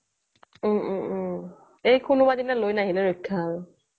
ওম ওম ওম এই কোনোবা দিনা লৈ নাহিলে ৰক্ষা আৰু